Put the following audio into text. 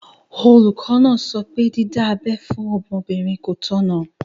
Olùkọ́ náà sọ pé dídá abẹ́ fún ọmọbìnrin kò tọ̀nà.